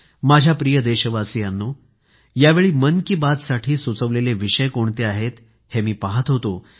माझ्या प्रिय देशवासियांनो यावेळी मन की बात साठी सूचवलेले विषय कोणते आहेत हे मी पाहत होतो